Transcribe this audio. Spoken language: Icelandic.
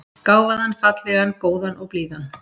Gáfaðan, fallegan, góðan og blíðan.